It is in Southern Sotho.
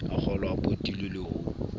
a kgolwao potile le ha